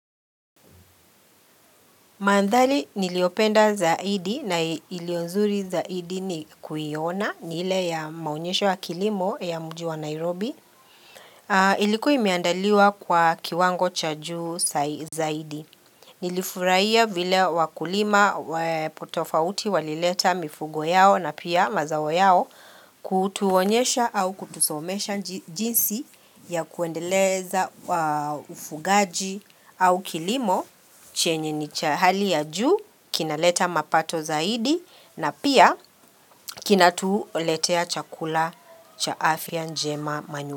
Mandhari niliopenda zaidi na ilio nzuri zaidi ni kuiona ni ile ya maonyeshe wa kilimo ya mji wa Nairobi. Ilikuwa imeandaliwa kwa kiwango cha juu zaidi. Nilifurahia vile wakulima tofauti walileta mifugo yao na pia mazao yao kutuonyesha au kutusomesha jinsi ya kuendeleza ufugaji au kilimo chenye ni cha hali ya juu kinaleta mapato zaidi na pia kinatuletea chakula cha afya njema manyu.